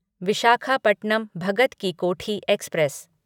Visakhapatnam Bhagat ki Kothi express